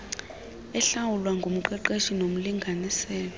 ehlawulwa ngumqeshi nomlinganiselo